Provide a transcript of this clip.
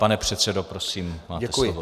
Pane předsedo, prosím, máte slovo.